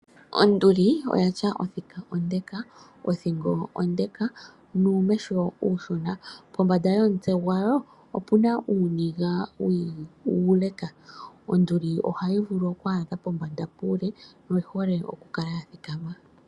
Onduli oya tya othika ondeka ,othingo ondeka nuumesho nuushona pombanda yomutse gwayo opena uuniga uuleka, onduli ohayi vulu okwa adha pombanda puule oyi hole okukal ya thikama .